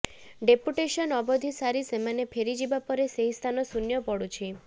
deputation ଅବଧି ସାରି ସେମାନେ ଫେରିଯିବା ପରେ ସେହି ସ୍ଥାନ ଶୂନ୍ୟ ପଡୁଛି